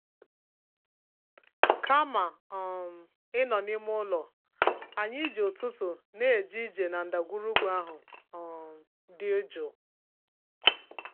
Kama um ịnọ n'ime ụlọ, anyị ji ụtụtụ na-eje ije na ndagwurugwu ahụ um dị jụụ.